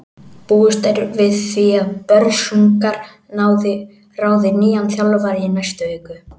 Búist er við því að Börsungar ráði nýjan þjálfara í næstu viku.